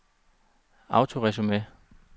autoresume